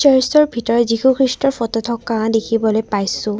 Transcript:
চাৰ্চটোৰ ভিতৰত যীশু খ্ৰীষ্টৰ ফটো থকা দেখিবলৈ পাইছোঁ।